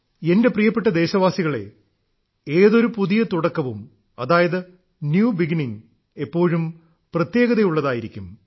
എന്റെ പ്രിയപ്പെട്ട ദേശവാസികളേ ഏതൊരു പുതിയ തുടക്കവും അതായത് ന്യൂ ബിഗിനിംഗ് എപ്പോഴും പ്രത്യേകതയുള്ളതായിരിക്കും